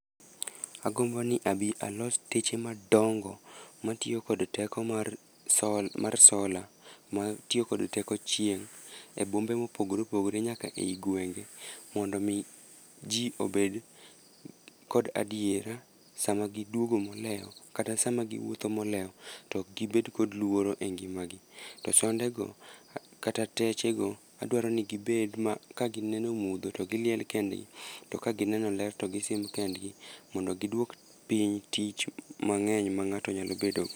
Agombo ni abi alos teche madongo matiyo kod teko mar solar matiyo kod teko chieng' e bombe mopogore opogore nyaka ei gwenge mondo omi ji obed kod adiera sama giduogo molewo kata sama giwuotho molewo to ok gibed kod luoro e ngimagi. To sondego kata techego, adwaro ni gibed ma kagineno mudho, to giliel kendgi, to ka gineno ler to gisim kendgi mondo gidwok piny tich mang'eny ma ng'ato nyalo bedogo.